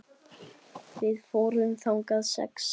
Við fórum þangað sex saman.